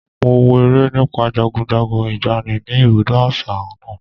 Mo wo eré nípa jagunjagun ìgbàanì ni ibùdó àṣà náà.